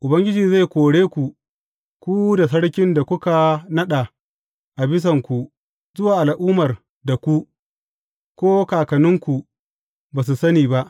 Ubangiji zai kore ku, ku da sarkin da kuka naɗa a bisanku zuwa al’ummar da ku, ko kakanninku ba su sani ba.